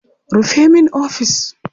Rufe min ofis!